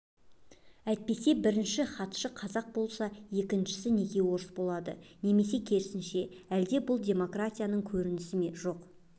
әйтпесе бірінші хатшы қазақ болса екіншісі неге орыс болады немесе керісінше әлде бұл демократияның көрінісі ме жоқ